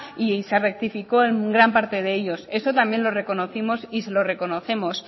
y se rectificó en gran parte de ellos eso también lo reconocimos y se lo reconocemos